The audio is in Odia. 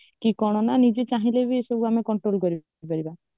କି କଣ ନ ନିଜେ ଚାହିଁଲେ ବି ଏ ସବୁ ଆମେ control କରିପାରିବା